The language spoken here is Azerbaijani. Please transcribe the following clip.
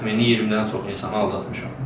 Təxmini 20-dən çox insanı aldatmışam.